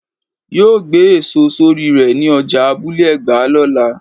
yóó gbé èso sorí rè ní ọjà Abule egba lọ́la.